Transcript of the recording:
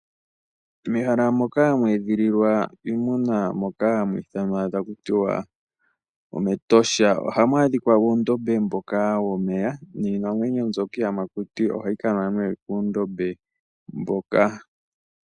Mehala moka hamu edhililwa iimuna moka hamu ithanwa taku tiwa omEtosha ohamu adhika oondombe dhomeya niinamwenyo mbyoka iiyamakuti ohayi kanwa moondombe moka.